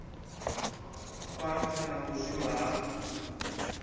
khwaṱha na u zwimba ha